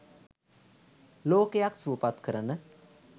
ලෝකයක් සුවපත් කරන